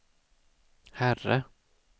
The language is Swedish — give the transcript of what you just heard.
herre